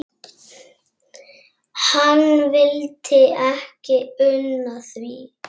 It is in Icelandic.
Hann vildi ekki una því.